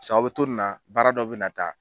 sa aw bɛ to nin na baara dɔ bɛ na taa.